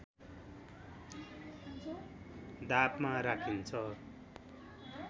दापमा राखिन्छ